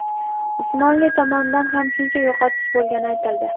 Usmonli tomonidan ham shuncha yo‘qotish bo‘lgani aytildi.